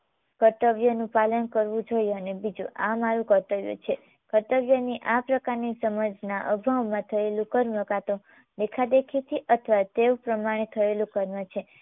કર્તવ્યનું પાલન કરવું જોઈએ અને બીજું આ મારુ કર્તવ્ય છે. કર્તવ્યની આ પ્રકારની સમજણા અગાઉમાં થયેલું કર્મ કાં તો દેખાદેખીથી અથવા તે પ્રમાણે થયેલું કર્મ છે